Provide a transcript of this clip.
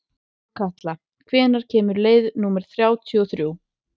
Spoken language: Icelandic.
Þórhalla, hvenær kemur leið númer þrjátíu og þrjú?